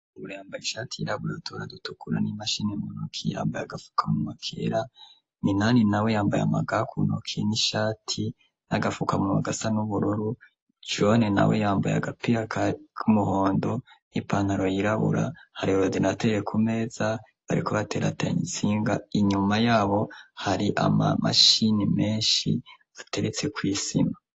Bura yambaye ishati yirabura tuna dutukura n'imashini munoki yambaye agapfuka mu makera minani na we yambaye amagakunokie n'ishati n'agapfuka mu magasa n'ubururu jane na we yambaye agapirakari k'umuhondo n'ipantaro yirabura hari olodinateye ku meza bariko bateratanye insinga inyuma yabo hari ama mashini menshi ateretse kw'isima.